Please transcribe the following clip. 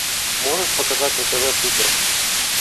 можешь показать на тв супер